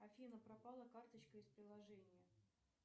афина пропала карточка из приложения